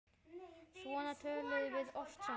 Svona töluðum við oft saman.